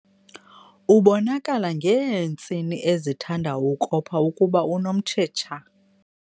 Ubonakala ngeentsini ezithanda ukopha ukuba unomtshetsha.